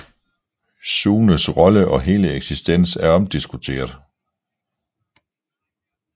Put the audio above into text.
Sunes rolle og hele eksistens er omdiskuteret